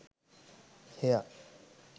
hair